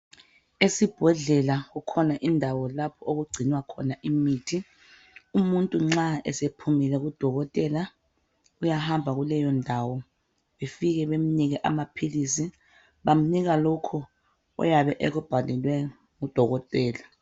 Esibhedlela kukhona lapho okugcinwa khona imithi. Umuntu nxa esephumile kudokotela, uyahamba kuleyondawo befike benike amaphilisi. Bamnika lokho oyabe ekubhalelwe ngudokotela.